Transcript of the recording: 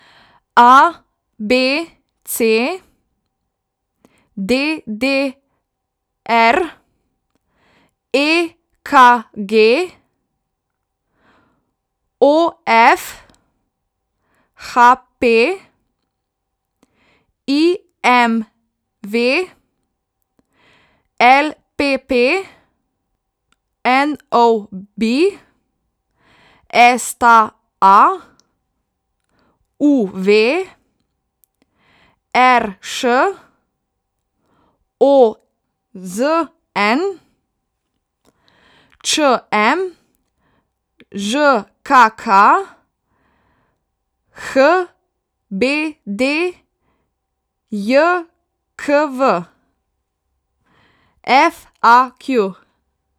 A B C; D D R; E K G; O F; H P; I M V; L P P; N O B; S T A; U V; R Š; O Z N; Č M; Ž K K; H B D J K V; F A Q.